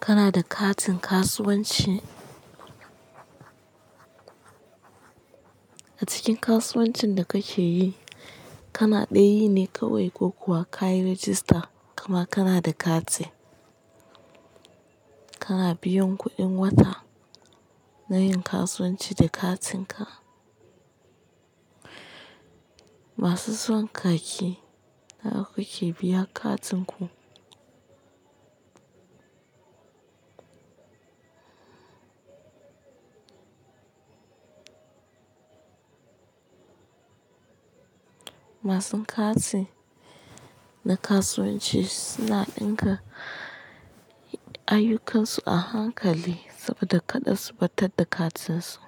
Kana da katin kasuwanci? A cikin kasuwancin da kake yi, kana dai yi ne kawai ko kuwa kayi rajista kuma kana da kati? Kana biyan kuɗin wata na yin kasuwanci da katinka? Masu son kaki nawa kuke biyan katin ku? Masu kati na kasuwanci suna dinka ayyukansu a hankali saboda karda su ɓatar da katin su.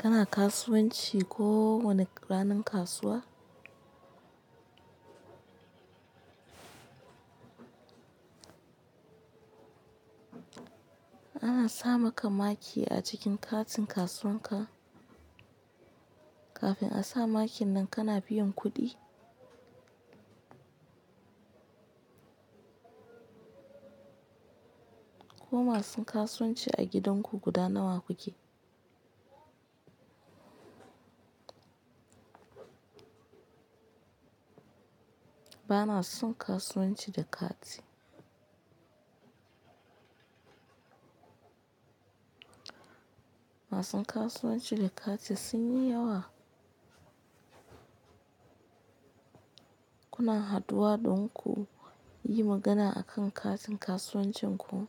Kana kasuwanci ko wane ranar kasuwa? Ana sama ka maki a cikin katin kasuwan ka kafin a sa makin nan kana biyan kuɗi? Ko masun kasuwanci a gidan ku guda nawa kuke? Ba na son kasuwanci da kati. Masun kasuwanci da kati sun yi yawa? Kuna haduwa don ku yi magana akan katin kasuwancin ku?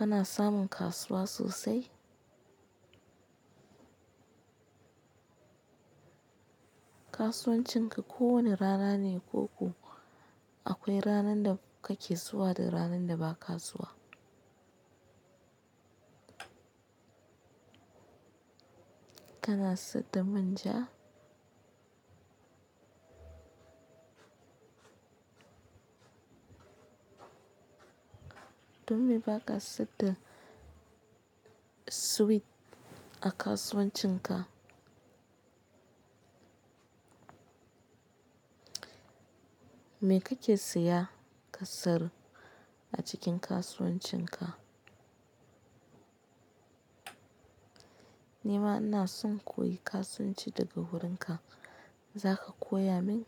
Kana samun kasuwa sosai? Kasuwancin ka ko wani rana ne ko kuwa akwai ranan da kake zuwa da ranan da ba ka zuwa? Kana saida manja? Domme ba ka siyar da sweet a kasuwancin ka. Me kake siya ƙasiyar a cikin kasuwancin ka? Ni ma ina son in koyi kasuwanci daga wurin ka, zaka koya min?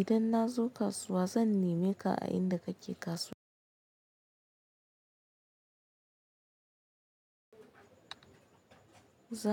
Idan na zo kasuwa zan neme ka a inda kake kasuwa. Za.